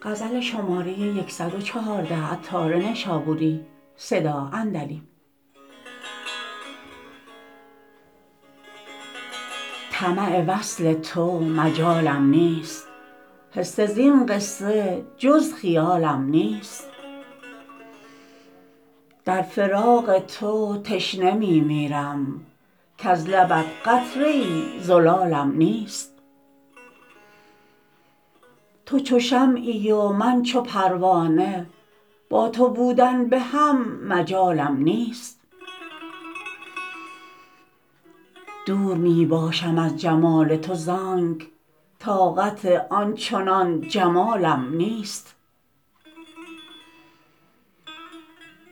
طمع وصل تو مجالم نیست حصه زین قصه جز خیالم نیست در فراق تو تشنه می میرم کز لبت قطره ای زلالم نیست تو چو شمعی و من چو پروانه با تو بودن به هم مجالم نیست دور می باشم از جمال تو زانک طاقت آن چنان جمالم نیست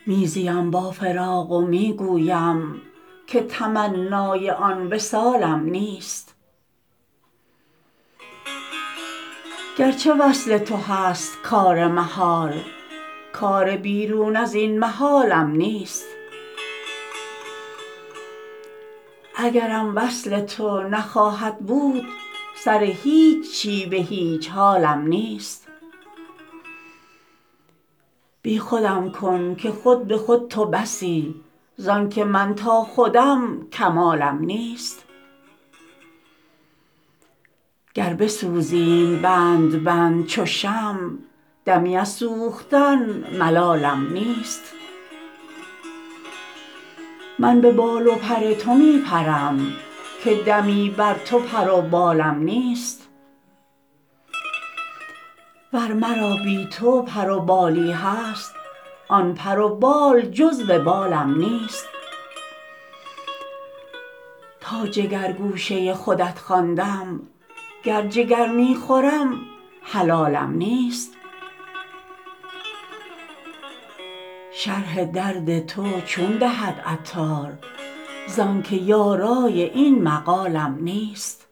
می زیم با فراق و می گویم که تمنای آن وصالم نیست گرچه وصل تو هست کار محال کار بیرون ازین محالم نیست اگرم وصل تو نخواهد بود سر هیچی به هیچ حالم نیست بی خودم کن که خود به خود تو بسی زانکه من تا خودم کمالم نیست گر بسوزیم بند بند چو شمع دمی از سوختن ملالم نیست من به بال و پر تو می پرم که دمی بر تو پر و بالم نیست ور مرا بی تو پر و بالی هست آن پر و بال جز وبالم نیست تا جگر گوشه خودت خواندم گر جگر می خورم حلالم نیست شرح درد تو چون دهد عطار زانکه یارای این مقالم نیست